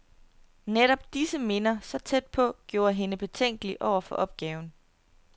Netop disse minder, så tæt på, gjorde hende betænkelig over for opgaven.